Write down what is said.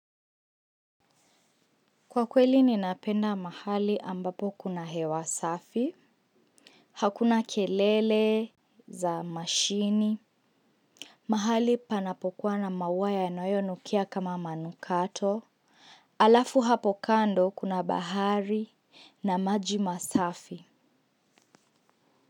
Kwa kweli ninapenda mahali ambapo kuna hewa safi. Hakuna kelele za mashini. Mahali panapokuwa na maus yanayonukia kama manukato. Alafu hapo kando kuna bahari na maji masafi.